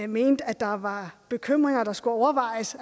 mente at der var bekymringer der skulle overvejes